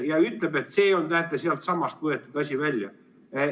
Ja ütleb, et see asi on, näete, sealtsamast võetud välja.